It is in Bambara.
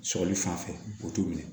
Sɔgɔli fan fɛ o t'u minɛ